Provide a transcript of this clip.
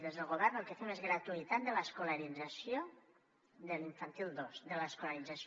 des del govern el que fem és gratuïtat de l’escolarització de l’infantil dos de l’escolarització